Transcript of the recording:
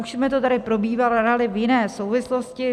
Už jsme to tady probírali v jiné souvislosti.